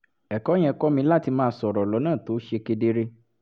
ẹ̀kọ́ yẹn kọ́ mi láti máa sọ̀rọ̀ lọ́nà tó ṣe kedere